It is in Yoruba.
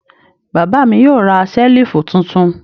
Bàbá mi yóò ra ṣẹ́lífù tuntun.